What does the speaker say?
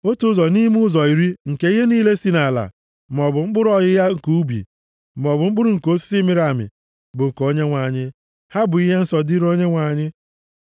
“ ‘Otu ụzọ nʼime ụzọ iri nke ihe niile si nʼala, maọbụ mkpụrụ ọghịgha nke ubi, maọbụ mkpụrụ nke osisi mịrị, bụ nke Onyenwe anyị. Ha bụ ihe nsọ dịrị Onyenwe anyị.